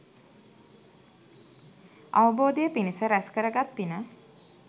අවබෝධය පිණිස රැස් කරගත් පින